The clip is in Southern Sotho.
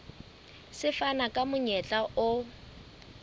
se fana ka monyetla o